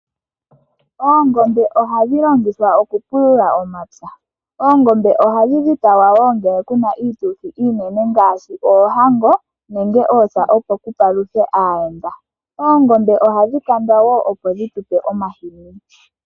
Oongombe ohadhi longithwa okupulula omapya, ohadhi dhipagwa wo ngele pu na iituthi iinene ngaashi oohanho nenge oosa opo ku paluthwe aayenda. Oongombe ohadhi kandwa wo opo dhi tu pe omahini.